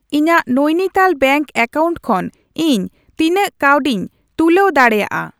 ᱤᱧᱟᱜ Nainital bank account ᱠᱷᱚᱱ ᱤᱧ ᱛᱤᱱᱟᱹᱜ ᱠᱟᱹᱣᱰᱤᱧ ᱛᱩᱞᱟᱹᱣ ᱫᱟᱲᱮᱭᱟᱜᱼᱟ ?